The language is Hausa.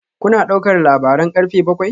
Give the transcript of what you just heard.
Kuna ɗaukar labaran karfe bakwai?